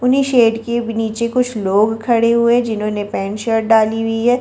उन्हीं शेड के नीचे कुछ लोग खड़े हुए हैं जिन्होंने पेंट शर्ट डाली हुई है।